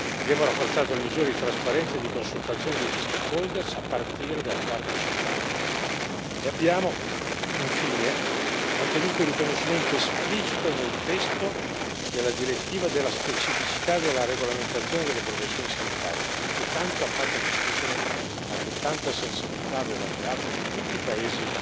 Abbiamo rafforzato le misure di trasparenza e di consultazione degli stakeholder a partire dalle parti sociali, e abbiamo infine mantenuto il riconoscimento esplicito nel testo della direttiva della specificità della regolamentazione delle professioni sanitarie, che tanto ha fatto discutere ma che tanta sensibilità aveva creato in tutti i paesi